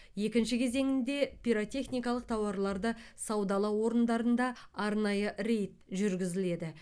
екінші кезеңінде пиротехникалық тауарларды саудалау орындарында арнайы рейд жүргізіледі